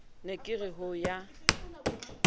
ne ke re ho ya